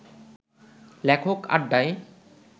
লেখক আড্ডায়